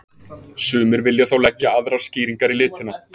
Sumir vilja þó leggja aðrar skýringar í litina.